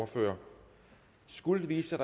ordfører skulle det vise sig